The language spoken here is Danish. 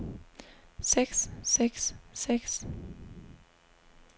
seks seks seks